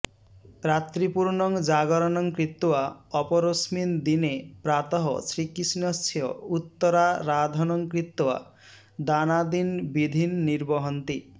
रात्रिपूर्णं जागरणं कृत्वा अपरस्मिन् दिने प्रातः श्रीकृष्णस्य उत्तराराधनं कृत्वा दानादीन् विधीन् निर्वहन्ति